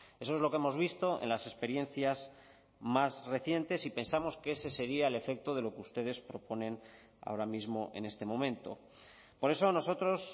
eso es lo que hemos visto en las experiencias más recientes y pensamos que ese sería el efecto de lo que ustedes proponen ahora mismo en este momento por eso nosotros